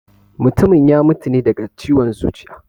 Mutumin ya mutu ne daga ciwon zuciya